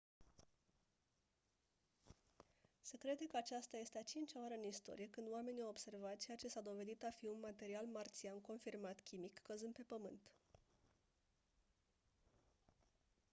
se crede că aceasta este a cincea oară în istorie când oamenii au observat ceea ce s-a dovedit a fi un material marțian confirmat chimic căzând pe pământ